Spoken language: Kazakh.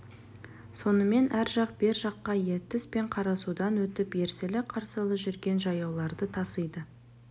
сонымен ар жақ бер жаққа ертіс пен қарасудан өтіп ерсілі-қарсылы жүрген жаяуларды тасиды